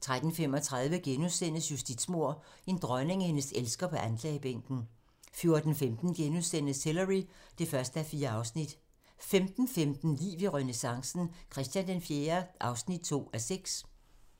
13:35: Justitsmord - en dronning og hendes elsker på anklagebænken * 14:15: Hillary (1:4)* 15:15: Liv i renæssancen - Christian IV (2:6)